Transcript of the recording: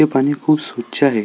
हे पाणी खूप स्वच्छ आहे.